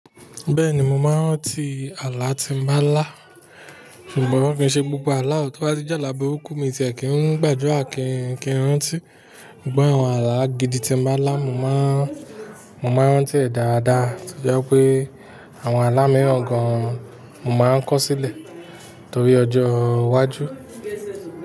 Bẹ́ẹ̀ni, mo máa ń rántí i àlá tí mo bá ń lá, ṣùgbọ́n kì ń ṣe gbogbo àlá o tó bá ti jálàá burúkú miìn ti ẹ̀ kín ń gbà ádùrá kíin kí n rántí. Ṣùgbọ́n àwọn àlá gidi tí mo bá lá, mo máa ń, mo máa ń rántí ẹ̀ dáadáa, tó jẹ́ pé àwọn àlá mìíràn gan-an mo máa ń kọ́ sílẹ̀ torí ọjọ́ iwájú.